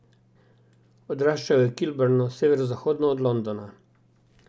Odraščal je v Kilburnu, severozahodno od Londona.